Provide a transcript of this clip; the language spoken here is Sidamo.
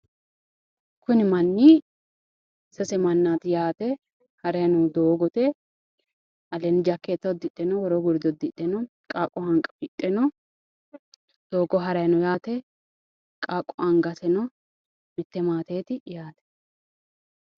Kuni manni sase mannaati yaate harayi noohu doogote aleenno jakkeetta uddidhe no woroonni gurde uddidhe no qaaqqo hanqafidhe no doogo haraayi no yaate qaaqqu angase no mitte maateeti yaate